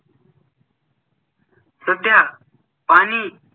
सध्या पाणी